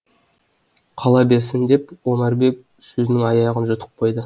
қала берсін деп омарбек сөзінің аяғын жұтып қойды